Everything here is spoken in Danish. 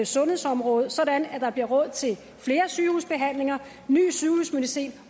sundhedsområdet så der bliver råd til flere sygehusbehandlinger ny sygehusmedicin